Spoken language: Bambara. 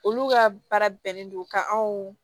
Olu ka baara bɛnnen don ka anw